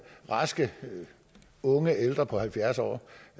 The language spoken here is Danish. raske unge ældre på halvfjerds år